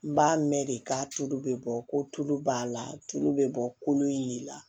N b'a mɛn de ka tulu bɛ bɔ ko tulu b'a la tulu bɛ bɔ kolo in de la